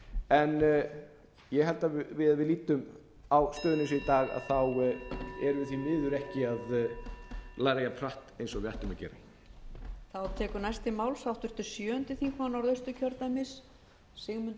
en ég held að ef við lítum á stöðuna eins og í dag erum við því miður ekki að læra jafnhratt og við ættum að gera